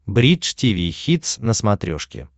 бридж тиви хитс на смотрешке